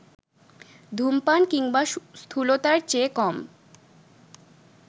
ধূমপান কিংবা স্থূলতার চেয়ে কম